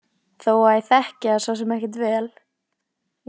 Þó að ég þekki það svo sem ekkert vel.